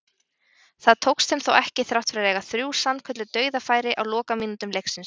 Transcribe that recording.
Það tókst þeim þó ekki þrátt fyrir að eiga þrjú sannkölluð dauðafæri á lokamínútum leiksins.